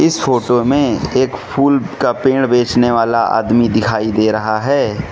इस फोटो में एक फूल का पेड़ बेचने वाला आदमी दिखाई दे रहा है।